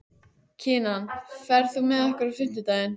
Kinan, ferð þú með okkur á fimmtudaginn?